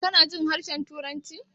Kanajin harshen turanci?